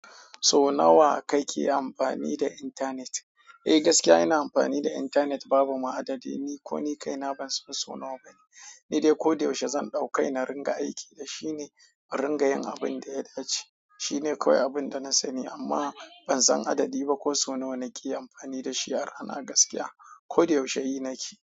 So nawa kake amfani da intanet? Eh gaskiya ina amfani da intanet babu ma adadi. Ni ko ni kaina ban son so nawa bane. Ni dai ko da yaushe zan ɗauki na ringa aiki da shi ne ringayen abin da ya dace. Shine kawai abinda na sani amma ban san adadi ba ko sau nawa nake amfani dashi ba gaskiys ko da yaushe yi na ke.